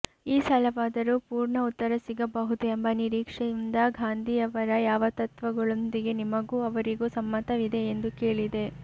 ಈ ಸಲವಾದರೂ ಪೂರ್ಣ ಉತ್ತರ ಸಿಗಬಹುದು ಎಂಬ ನಿರೀಕ್ಷೆಯಿಂದ ಗಾಂಧಿಯವರ ಯಾವ ತತ್ವಗಳೊಂದಿಗೆ ನಿಮಗೂ ಅವರಿಗೂ ಸಮ್ಮತವಿದೆ ಎಂದು ಕೇಳಿದೆ